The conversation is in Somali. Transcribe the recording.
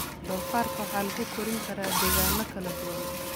Doofaarka waxaa lagu korin karaa degaano kala duwan.